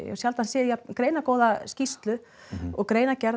sjaldan séð jafn greinagóða skýrslu og greina gerð